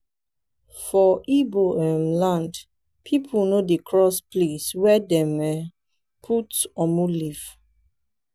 for igbo um land pipo no dey cross place were dem um put "omu" leaf.